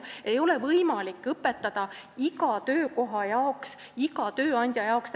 Ei ole võimalik õpetada töötajaid iga töökoha jaoks, täpselt iga tööandja jaoks.